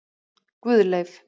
Guðleif